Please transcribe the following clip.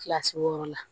Kilasi wɔɔrɔ la